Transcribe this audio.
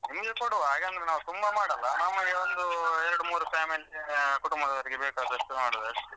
ನಿಮ್ಗೆ ಕೊಡುವ ಯಾಕಂದ್ರೆ ನಾವು ತುಂಬ ಮಾಡಲ್ಲ ನಮಗೆ ಒಂದೂ ಎರಡು ಮೂರೂ family ಕುಟುಂಬದವರಿಗೆ ಬೇಕಾದಷ್ಟು ಮಾಡುದು ಅಷ್ಟೆ.